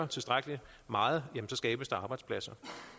tilstrækkelig meget så skabes der arbejdspladser